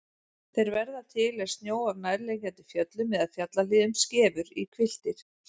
Þeir verða til er snjó af nærliggjandi fjöllum eða fjallahlíðum skefur í hvilftir.